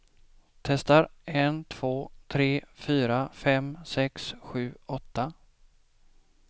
Testar en två tre fyra fem sex sju åtta.